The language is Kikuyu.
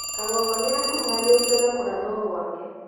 Kangogo nĩ akuruhanĩtio na kũrathwo gwake.